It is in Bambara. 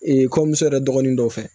Ee kɔɲɔmuso yɛrɛ dɔgɔnin dɔ fɛ